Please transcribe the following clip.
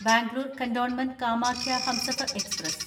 Bangalore cantonment Kamakhya Humsafar express